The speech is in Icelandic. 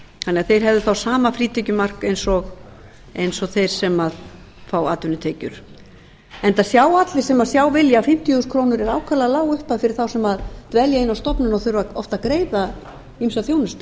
að þeir hefðu þá sama frítekjumark og þeir sem fá atvinnutekjur enda sjá allir sem sjá vilja að fimmtíu þúsund krónur er ákaflega lág upphæð fyrir þá sem dvelja inni á stofnun og þurfa oft að greiða ýmsa þjónustu